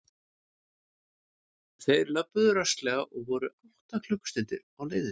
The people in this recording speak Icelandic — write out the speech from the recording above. Þeir löbbuðu rösklega og voru um átta klukkustundir á leiðinni.